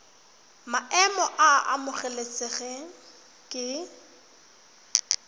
maemo a a amogelesegang ke